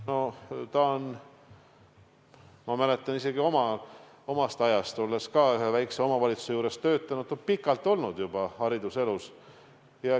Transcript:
No ta on olnud juba pikalt – ma mäletan isegi omast ajast, olles ka ühe väikese omavalitsuse juures töötanud – hariduselus.